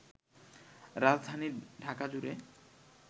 রাজধানী ঢাকাজুড়ে